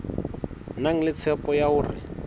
na le tshepo ya hore